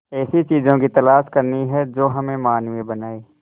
ऐसी चीजों की तलाश करनी है जो हमें मानवीय बनाएं